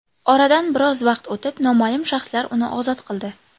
Oradan biroz vaqt o‘tib noma’lum shaxslar uni ozod qildi.